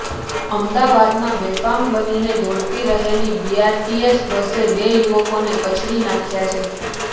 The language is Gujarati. અમદાવાદમાં બેફામ બનીને દોડતી રહેતી બીઆરટીએસ બસે બે યુવકોને કચડી નાંખ્યા છે